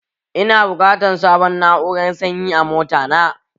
Ina buƙatan sabun na'urar sanyi a mota na